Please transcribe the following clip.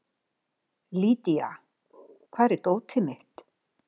Lýdía, hvar er dótið mitt?